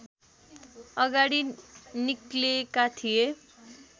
अगाडि निक्लेका थिए